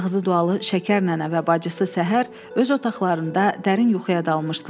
Ağzı dualı Şəkər nənə və bacısı səhər öz otaqlarında dərin yuxuya dalmışdılar.